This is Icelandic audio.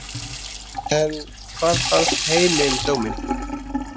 En hvað fannst heimi um dóminn?